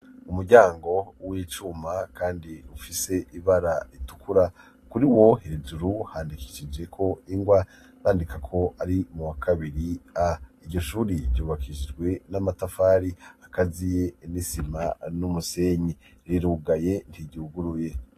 umuryango w'icuma kandi ufise ibara ritukura, kuri wo hejuru handikishijeko ingwa yandika ko ari mu wa kabiri a. iryo shuri ryubakishijwe n'amatafari akaziye n'isima n'umusenyi. rirugaye ntiryuguruye.